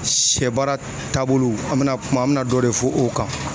Sɛ baara taabolo an bɛna kuma an bɛ na dɔ de fɔ o kan.